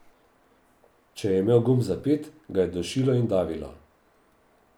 Če je imel gumb zapet, ga je dušilo in davilo.